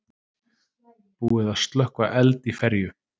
Búið að slökkva eld í ferju